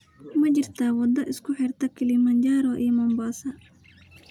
Ma jirtaa waddo isku xirta Kilimanjaro iyo Mombasa?